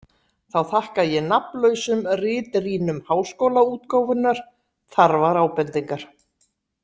Þá þakka ég nafnlausum ritrýnum Háskólaútgáfunnar þarfar ábendingar.